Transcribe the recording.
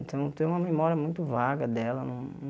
Então, eu tenho uma memória muito vaga dela. Não